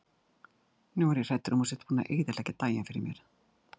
Nú er ég hræddur um að þú sért búinn að eyðileggja daginn fyrir mér.